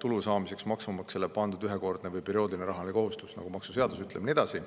tulu saamiseks maksumaksjale pandud ühekordne või perioodiline rahaline kohustus, nagu ütleb maksuseadus, ja nii edasi.